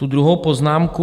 Ta druhá poznámka.